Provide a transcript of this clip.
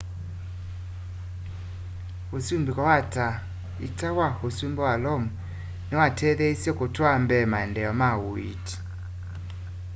usumbiko wa ta ita wa usumbi wa lomu niwatetheeisye kutwaa mbee maendeeo ma uiiti